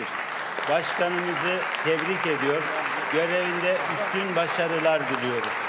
Sədrimizi təbrik edir, vəzifəsində yüksək uğurlar arzulayırıq.